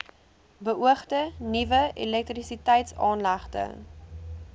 beoogde nuwe elektrisiteitsaanlegte